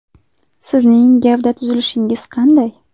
Sizning gavda tuzilishingiz qanday?